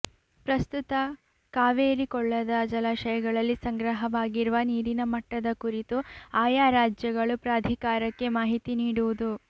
ಪಸ್ತುತ್ತ ಕಾವೇರಿ ಕೊಳ್ಳದ ಜಲಾಶಯಗಳಲ್ಲಿ ಸಂಗ್ರಹವಾಗಿರುವ ನೀರಿನ ಮಟ್ಟದ ಕುರಿತು ಆಯಾ ರಾಜ್ಯಗಳು ಪ್ರಾಧಿಕಾರಕ್ಕೆ ಮಾಹಿತಿ ನೀಡುವುದು